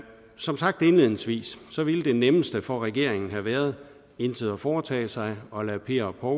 som sagt indledningsvis ville det nemmeste for regeringen have været intet at foretage sig og lade per og